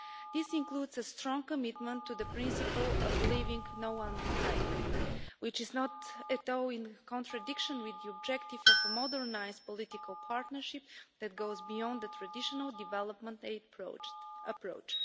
It includes a strong commitment to the principle of leaving no one behind, which is not at all in contradiction with the objective of a modernised political partnership that goes beyond the traditional development aid approach.